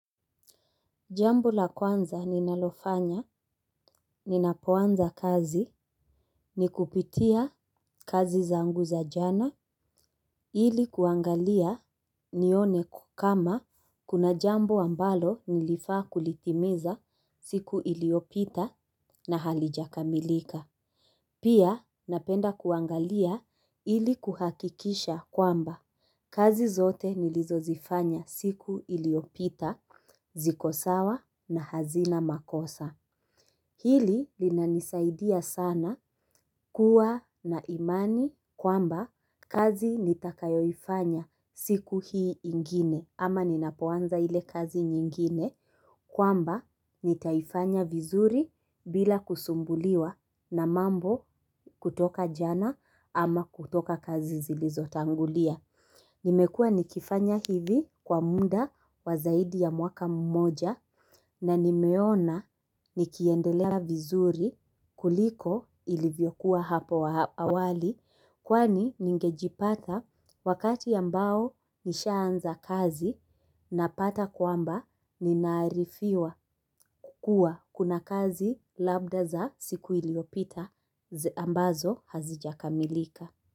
Jambo la kwanza ninalofanya, ninapoanza kazi, ni kupitia kazi zangu za jana, ili kuangalia nione kama kuna jambo ambalo nilifaa kulitimiza siku iliopita na halijakamilika. Pia napenda kuangalia ili kuhakikisha kwamba kazi zote nilizozifanya siku iliopita, zikosawa na hazina makosa. Hili linanisaidia sana kuwa na imani kwamba kazi nitakayoifanya siku hii ingine ama ninapoanza ile kazi nyingine kwamba nitaifanya vizuri bila kusumbuliwa na mambo kutoka jana ama kutoka kazi zilizo tangulia. Nimekua nikifanya hivi kwa muda wa zaidi ya mwaka mmoja na nimeona nikiendelea vizuri kuliko ilivyokuwa hapo awali kwani ningejipata wakati ambao nishaanza kazi napata kwamba ninaarifiwa kukua kuna kazi labda za siku iliopita ambazo hazijakamilika.